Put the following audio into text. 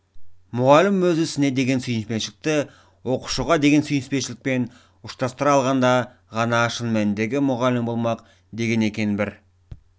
мұғалім өз ісіне деген сүйіспеншілікті оқушыға деген сүйіспеншілікпен ұштастыра алғанда ғана шын мәніндегі мұғалім болмақ деген екен бір